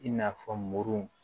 I n'a fɔ muru